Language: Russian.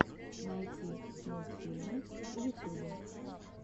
найти мультфильмы в ютубе